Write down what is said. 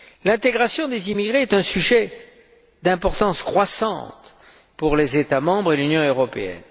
L'intégration des immigrés est un sujet d'importance croissante pour les États membres et l'Union européenne.